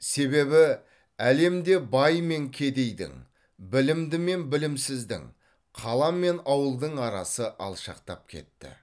себебі әлемде бай мен кедейдің білімді мен білімсіздің қала мен ауылдың арасы алшақтап кетті